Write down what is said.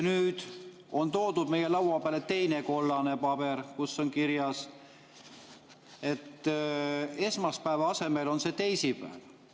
Nüüd on toodud meie laua peale teine kollane paber, kus see on esmaspäeva asemel kirjas teisipäeval.